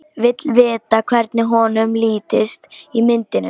Vill vita hvernig honum lítist á myndina.